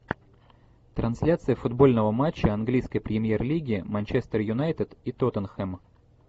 трансляция футбольного матча английской премьер лиги манчестер юнайтед и тоттенхэм